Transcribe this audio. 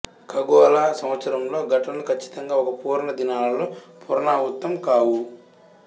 ఖగోళ సంవత్సరంలో ఘటనలు కచ్చితంగా ఒక పూర్ణ దినాలలో పునరావృతం కావు